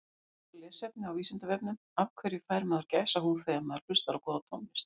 Frekara lesefni á Vísindavefnum Af hverju fær maður gæsahúð þegar maður hlustar á góða tónlist?